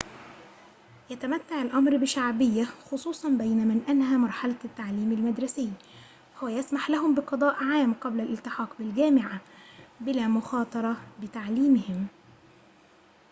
يتمتع الأمر بشعبية خصوصاً بين من أنهى مرحلة التعليم المدرسي فهو يسمح لهم بقضاء عام قبل الالتحاق بالجامعة بلا مخاطرة بتعليمهم